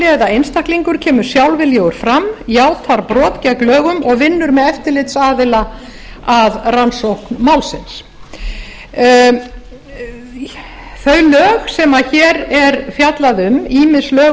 eða einstaklingur kemur sjálfviljugur fram játar brot gegn lögum og vinnur með eftirlitsaðila að rannsókn málsins þau lög sem hér er fjallað um lög